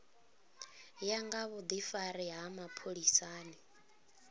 ya nga vhudifari ha mapholisani